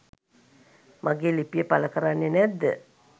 මගේ ලිපිය පළ කරන්නේ නැද්ද?